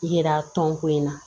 Yira tɔn ko in na